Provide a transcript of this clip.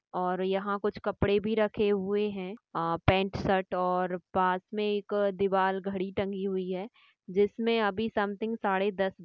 और यहाँ कुछ कपड़े भी रखे हुए है अह पैन्‍ट्‌ शर्ट और पास मे एक दीवाल घड़ी टंगी हुई है जिसमे अभी समथिंग साड़े दस ब--